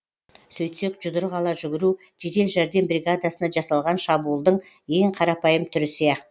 сөйтсек жұдырық ала жүгіру жедел жәрдем бригадасына жасалған шабуылдың ең қарапайым түрі сияқты